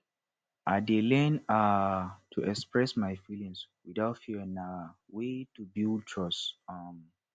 i dey learn um to express my feelings without fear na way to build trust um